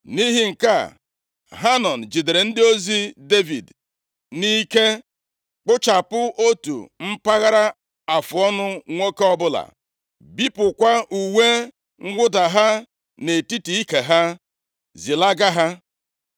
Nʼihi nke a, Hanọn jidere ndị ozi Devid nʼike, kpụchapụ otu mpaghara afụọnụ nwoke ọbụla, bipụkwa uwe mwụda ha nʼetiti ike ha, zilaga ha.